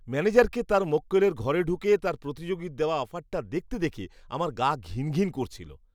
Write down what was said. ম্যানেজারকে তার মক্কেলের ঘরে ঢুকে তার প্রতিযোগীর দেওয়া অফারটা দেখতে দেখে আমার গা ঘিন ঘিন করছিল।